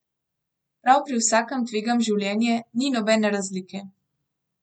Prav pri vsakem tvegam življenje, ni nobene razlike.